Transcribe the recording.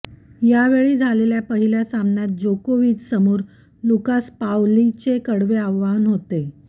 यावेळी झालेल्या पहिल्या सामन्यात जोकोविचसमोर लुकास पाओलीचे कडवे आव्हान होते